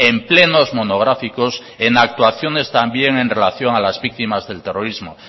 en plenos monográficos en actuaciones también en relación a las víctimas del terrorismo